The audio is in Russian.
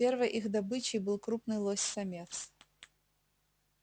первой их добычей был крупный лось самец